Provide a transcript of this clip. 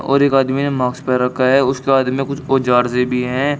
और एक आदमी ने मार्क्स पैर रखा है उसके हाथ में कुछ औजार से भी है।